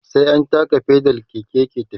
sai an taka pedal Keke yake tafiya